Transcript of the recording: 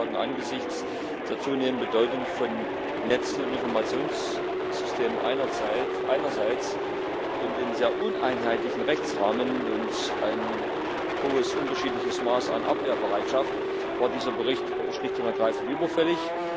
Man kann sagen Angesichts der zunehmenden Bedeutung von Netzen und Informationssystemen einerseits und des sehr uneinheitlichen Rechtsrahmens und eines hohen unterschiedlichen Maßes an Abwehrbereitschaft war dieser Bericht schlicht und ergreifend überfällig.